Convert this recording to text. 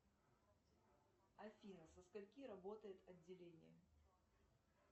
афина со скольки работает отделение